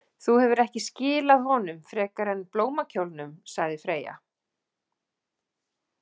Þú hefur ekki skilað honum frekar en blómakjólnum, sagði Freyja.